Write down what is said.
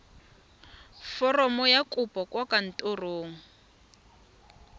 foromo ya kopo kwa kantorong